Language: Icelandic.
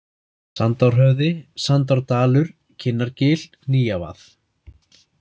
Sandárhöfði, Sandárdalur, Kinnargil, Nýjavað